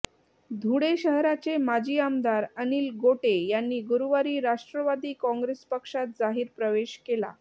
धुळे शहराचे माजी आमदार अनिल गोटे यांनी गुरुवारी राष्ट्रवादी काँगेस पक्षात जाहीर प्रवेश केला